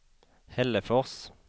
Hällefors